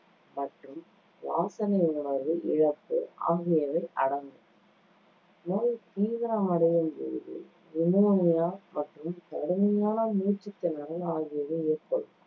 மற்றும் வாசனை உணர்வு இழப்பு ஆகியவை அடங்கும் நோய் தீவிரமடையும்பொழுது pneumonia மற்றும் கடுமையான மூச்சுத்திணறல் ஆகியவை ஏற்படும்.